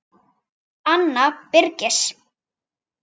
Anna Birgis.